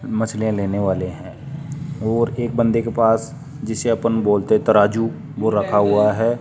मछलीया लेने वाले हैं और एक बंदे के पास जिसे अपन बोलते तराजू वो रखा हुआ है।